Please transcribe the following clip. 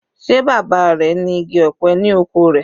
Sé bàbá rẹ̀ ní igi ọ̀pẹ ni oko rẹ̀?